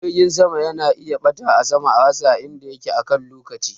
Jirgin sama yana iya ɓata a sama a rasa inda yake akan lokaci